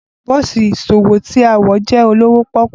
Bosi iṣowo ti a wọ jẹ olowo poku.